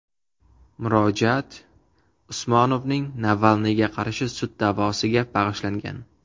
Murojaat Usmonovning Navalniyga qarshi sud da’vosiga bag‘ishlangan.